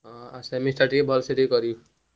ହଁ semester ଟିକେ ଭଲସେ କରିବୁ।